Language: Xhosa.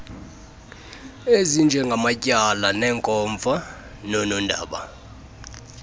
ezinjengamatyala neenkomfa noonondaba